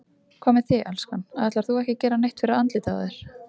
Hvað með þig, elskan. ætlar þú ekki að gera neitt fyrir andlitið á þér?